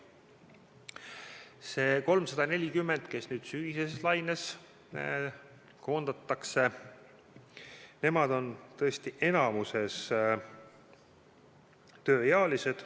Need 340, kes nüüd sügiseses laines koondatakse, on tõesti enamikus tööealised.